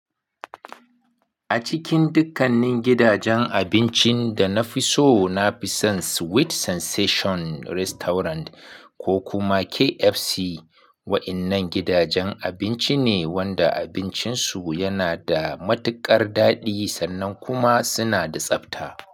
A cikin dukkanin gidajen abincin da na fi so, na fi son Sweet Sensation Restaurant ko kuma KFC, wa'innan gidajen abinci ne wanda abincinsu yana da matuƙar daɗi sannan kuma suna da tsabta.